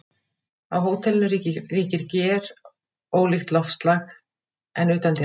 Á hótelinu ríkir gjörólíkt loftslag en utandyra.